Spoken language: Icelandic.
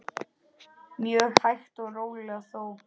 Mjög hægt og rólega þó.